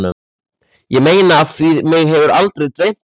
Ég meina af því mig hefur aldrei dreymt neitt.